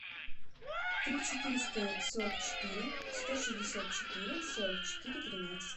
три четыреста сорок четыре сто шестьдесят четыре сорок четыре тринадцать